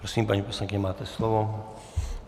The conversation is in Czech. Prosím, paní poslankyně, máte slovo.